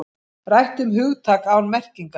Rætt um hugtak án merkingar